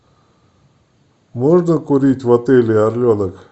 можно курить в отеле орленок